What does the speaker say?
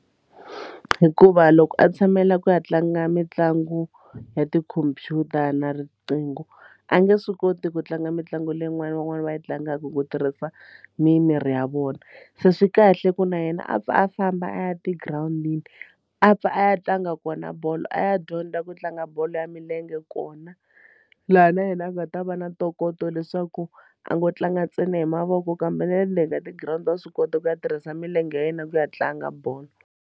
Hikuva loko a tshamela ku ya tlanga mitlangu ya tikhomphyuta na riqingho a nge swi koti ku tlanga mitlangu leyin'wani van'wani va yi tlangaka ku tirhisa mimiri ya vona se swi kahle ku na yena a pfa a famba a ya tigirawundini a pfa a ya tlanga kona bolo a ya dyondza ku tlanga bolo ya milenge kona laha na yena a nga ta va na ntokoto leswaku a ngo tlanga ntsena hi mavoko kambe na le ndzeni ka ti girawundi wa swi kota ku ya tirhisa milenge ya yena ku ya tlanga bolo.